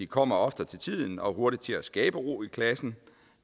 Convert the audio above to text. kommer oftere til tiden og er hurtigere til at skabe ro i klassen